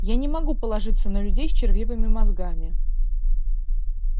я не могу положиться на людей с червивыми мозгами